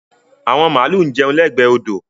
Àwọn màlúù ń jẹun lẹ́gbẹ̀ẹ́ odò.